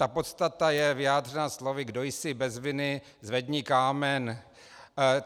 Ta podstata je vyjádřena slovy "kdo jsi bez viny, zvedni kámen".